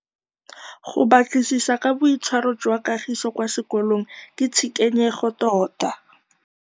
Go batlisisa ka boitshwaro jwa Kagiso kwa sekolong ke tshikinyêgô tota.